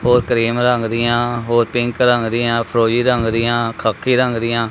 ਹੋਰ ਕ੍ਰੀਮ੍ ਦੀਆਂ ਹੋਰ ਪਿੰਕ ਰੰਗ ਦੀਆਂ ਫਿਰੋਜ਼ੀ ਰੰਗ ਦੀਆਂ ਖ਼ਾਕੀ ਰੰਗ ਦੀਆਂ--